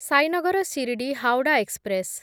Sainagar Shirdi Howrah express